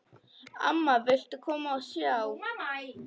Amma, viltu koma og sjá!